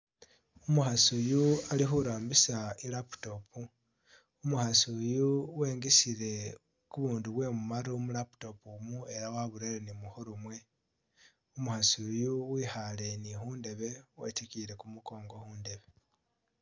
Umukhasi uyu ali khurambisa i'laptop, Umukhasi uyu wengisile bubundu bwe mumaru mu laptop omu ela waburere ni mukhuru mwe, umukhasi uyu wekhaale ni khundebe wetikiyile kumukongo khundebe.